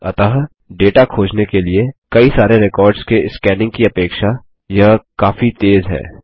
अतः डेटा खोजने के लिए सारे रेकॉर्ड्स के स्कैनिंग की अपेक्षा यह काफी तेज़ है